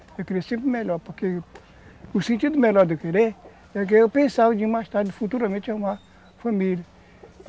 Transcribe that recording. Eu queria sempre o melhor, porque o sentido melhor de eu querer é que eu pensava de ir mais tarde, futuramente, arrumar família.